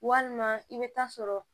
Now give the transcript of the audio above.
Walima i bɛ taa sɔrɔ